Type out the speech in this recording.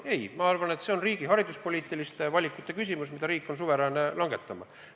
Ei, ma arvan, et siin on küsimus riigi hariduspoliitilistes valikutes, mida riik on suveräänne langetama.